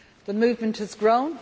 The movement has grown.